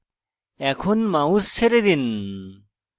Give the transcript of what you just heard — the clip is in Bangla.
এখন mouse ছেড়ে দিন